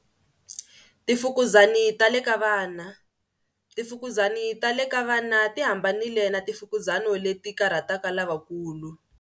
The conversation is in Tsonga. Timfukuzani ta le ka vana. Timfukuzani ta le ka vana ti hambanile na timfukizani leti karhataka lavakulu.